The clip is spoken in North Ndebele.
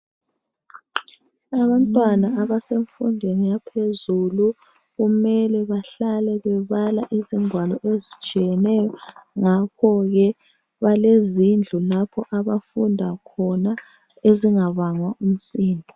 Abantwana abasemfundweni yaphezulu kumele bahlale bebala izingwalo ezitshiyeneyo ngakho ke balezindlu lapho abafunda khona ezingabangwa umsindo